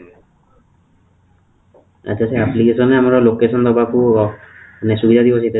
ଆଚ୍ଛା, ସେ application ରେ ଆମର location ଦେବାକୁ ହବ ନା